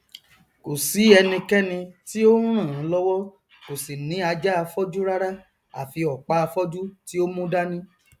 kòsí ẹnikẹni tí ó nràn án lọwọ kò sì ní ajáafọjú rárá àfi ọpáafọjú tí o mú dání